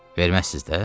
Verməzsiz də?